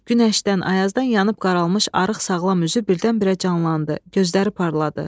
Günəşdən, ayazdan yanıb qaralmış arıq sağlam üzü birdən-birə canlandı, gözləri parladı.